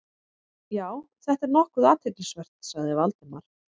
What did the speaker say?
Já, þetta er nokkuð athyglisvert- sagði Valdimar.